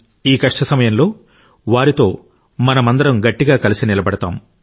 ఈ కష్ట సమయంలో వారితో మనమందరం గట్టిగా కలిసి నిలబడతాం